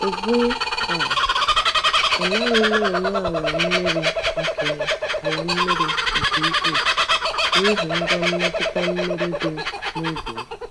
Ugbu a, anaghị m enye ala mmiri nke ala mmiri nke ukwuu n’ihi ngwa mmetụta mmiri dị n’ubi m.